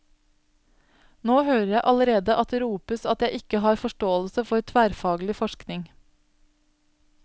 Nå hører jeg allerede at det ropes at jeg ikke har forståelse for tverrfaglig forskning.